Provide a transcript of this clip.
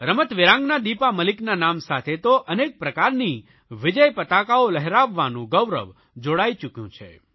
રમતવીરાંગના દીપા મલિકના નામ સાથે તો અનેક પ્રકારની વિજયપતાકાઓ લહેરાવવાનું ગૌરવ જોડાઇ ચૂક્યું છે